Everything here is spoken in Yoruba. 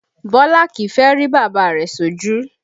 Bọlá kìí fẹ́ rí bàbá rẹ̀ sójú